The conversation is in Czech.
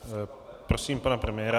Prosím pana premiéra.